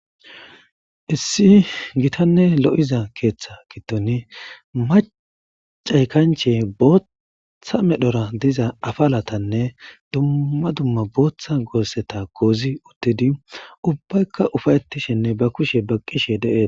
Issi gitanne lo'iza keeththa kitoni macay kanchey bootththa medhora diza afalatanne dumma dumma booththa goosseta koozi uttidi ubbaykka ufayetishinne ba kushe baqqishe de'ees.